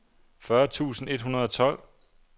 fyrre tusind et hundrede og tolv